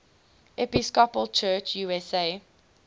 episcopal church usa